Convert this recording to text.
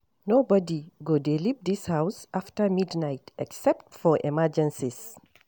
Nobody go dey leave dis house after midnight except for emergencies